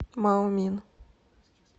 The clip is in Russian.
маомин